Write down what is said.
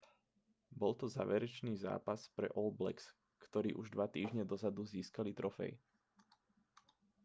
bol to záverečný zápas pre all blacks ktorí už dva týždňe dozadu získali trofej